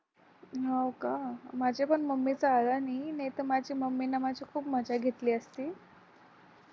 हो का माझ्या पण मम्मीचा आला नाही नाहीतर माझ्या मम्मी माझी खूप मजा घेतली असती